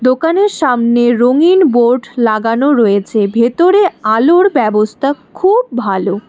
দোকানের সামনে রঙিন বোর্ড লাগানো রয়েছে ভেতরে আলোর ব্যবস্থা খুব ভালো।